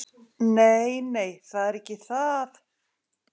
Nei, nei, það er ekki það.